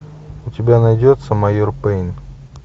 у тебя найдется майор пэйн